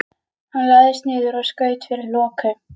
Hann lagðist niður og skaut fyrir loku.